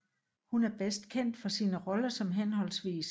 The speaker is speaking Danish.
Hun bedst kendt for sine roller som hhv